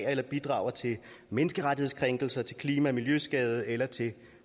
eller bidrager til menneskerettighedskrænkelser til klima og miljøskader eller til